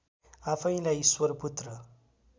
आफैँलाई ईश्वरपुत्र